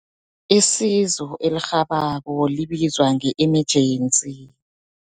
Isizo elirhabako libizwa nge-emergency.